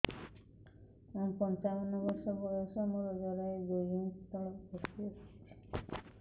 ମୁଁ ପଞ୍ଚାବନ ବର୍ଷ ବୟସ ମୋର ଜରାୟୁ ଦୁଇ ଇଞ୍ଚ ତଳକୁ ଖସି ଆସିଛି